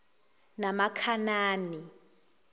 namakhanani